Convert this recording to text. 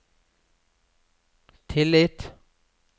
tillit